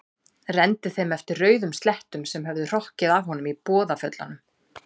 Renndi þeim eftir rauðum slettum sem höfðu hrokkið af honum í boðaföllunum.